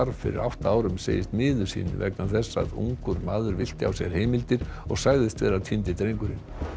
fyrir átta árum segist miður sín vegna þess að ungur maður villti á sér heimildir og sagðist vera týndi drengurinn